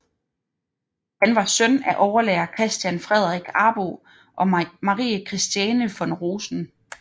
Han var søn af overlærer Christian Fredrik Arbo og Marie Christiane von Rosen